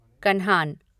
Kanhan